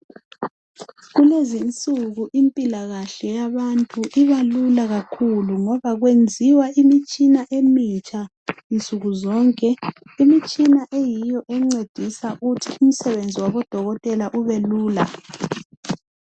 Kulezinsuku impilakahle yabantu ibalula kakhulu ngoba kwenziwa imitshina emitsha nsukuzonke. Imitshina eyiyo encedisa ukuthi umsebenzi wabodokotela ubelula.